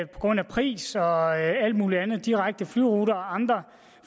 grund af pris og alt mulig andet direkte flyruter og andre